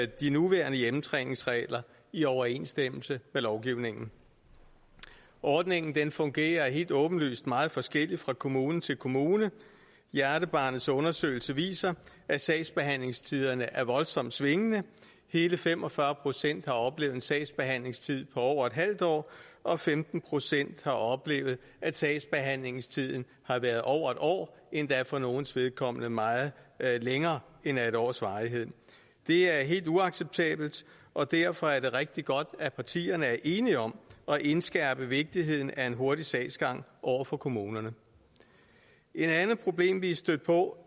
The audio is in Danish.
de nuværende hjemmetræningsregler i overensstemmelse med lovgivningen ordningen fungerer helt åbenlyst meget forskelligt fra kommune til kommune hjernebarnets undersøgelse viser at sagsbehandlingstiderne er voldsomt svingende hele fem og fyrre procent har oplevet en sagsbehandlingstid på over et halvt år og femten procent har oplevet at sagsbehandlingstiden har været over et år endda for nogles vedkommende meget længere end af et års varighed det er helt uacceptabelt og derfor er det rigtig godt at partierne er enige om at indskærpe vigtigheden af en hurtig sagsgang over for kommunerne et andet problem vi er stødt på